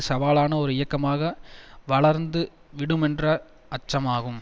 சவாலான ஒரு இயக்கமாக வளர்ந்துவிடுமென்ற அச்சமாகும்